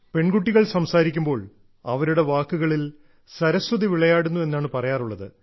പെൺകുട്ടികൾ സംസാരിക്കുമ്പോൾ അവരുടെ വാക്കുകളിൽ സരസ്വതി വിളയാടുന്നു എന്നാണ് പറയാറുള്ളത്